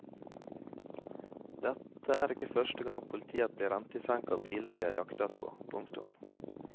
Dette er ikke første gang politiet blir rent i senk av biler de har jaktet på. punktum